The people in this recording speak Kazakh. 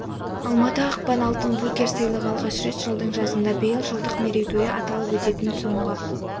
алматы ақпан алтын букер сыйлығы алғаш рет жылдың жазында биыл жылдық мерейтойы аталып өтетін соңғы